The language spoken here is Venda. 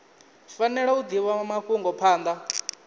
fanela u divha mafhungo phanda